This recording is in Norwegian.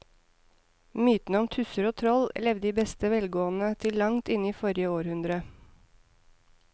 Mytene om tusser og troll levde i beste velgående til langt inn i forrige århundre.